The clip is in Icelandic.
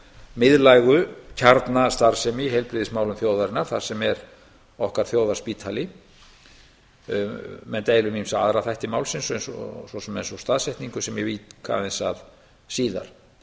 miðlægu kjarnastarfsemi í heilbrigðismálum þjóðarinnar þar sem er okkar þjóðarspítali menn deila um ýmsa aðra þætti málsins eins og svo sem staðsetningu sem ég vík aðeins að síðar